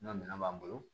N ka minɛn b'an bolo